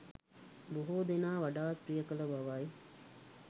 බොහෝ දෙනා වඩාත් ප්‍රිය කළ බවයි.